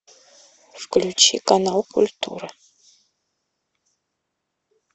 включи канал культура